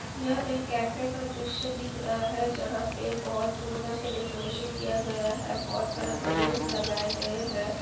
यह एक कैफे का दृश्य दिख रहा है जहाँ पे बहुत सुन्दर से डेकोरैशन किया गया है बहुत सारे बैलूनस लगाये गए हैं।